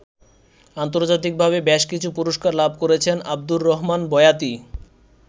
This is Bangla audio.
আন্তর্জাতিকভাবে বেশকিছু পুরস্কার লাভ করেছেন আবদুর রহমান বয়াতি।